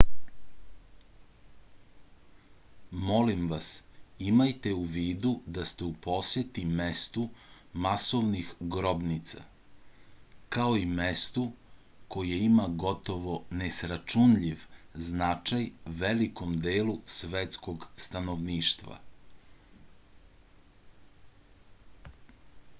molim vas imajte u vidu da ste u poseti mestu masovnih grobnica kao i mestu koje ima gotovo nesračunljiv značaj velikom delu svetskog stanovništva